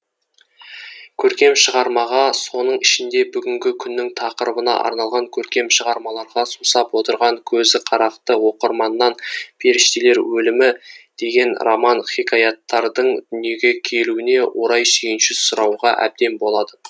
көркем шығармаға соның ішінде бүгінгі күннің тақырыбына арналған көркем шығармаларға сусап отырған көзіқарақты оқырманнан періштелер өлімі деген роман хикаяттардың дүниеге келуіне орай сүйінші сұрауға әбден болады